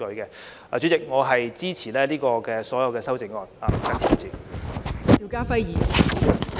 代理主席，我謹此陳辭，支持所有修正案。